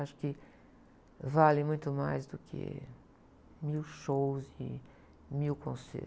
Acho que vale muito mais do que mil shows e mil concertos.